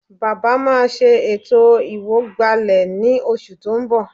Bàbá máa ṣe ètò ìwọ̀gbàlẹ̀ ní oṣù tó ń bọ̀